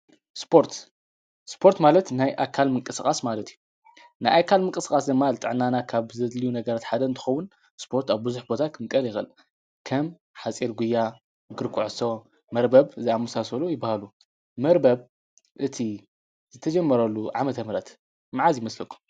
ስፖርት፡- ስፖርት ማለት ናይ ኣካል ምንቅስቓስ ማለት እዩ፡፡ ናይ ኣካል ምንቅስቓስ ድማ ጣዕናና ካብ ዘድልዩ ነገር እንትኸውን ስፖርት ኣብ ብዙሕ ቦታ ክምቀል ይኽእል፡፡ ከም ሓፂር ጕያ ፣እግሪ ኩዕሶ ፣መርበብ ዝኣመሳሰሉ ይበሃሉ፡፡ መርበብ እቲ ዘተጀመረሉ ዓመተ ምህረት መዓዝ ይመስለኩም?